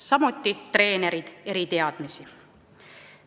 Samuti vajavad nende treenerid eriteadmisi.